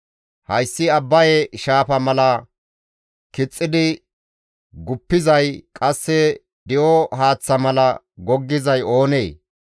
Hayssi Abbaye Shaafa mala kixxidi guppizay qasse di7o haaththa mala goggizay oonee?